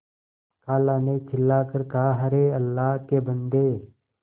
खाला ने चिल्ला कर कहाअरे अल्लाह के बन्दे